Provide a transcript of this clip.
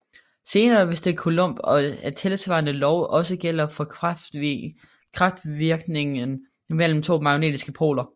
Senere viste Coulomb at tilsvarende lov også gælder for kraftvirkningen mellem to magnetiske poler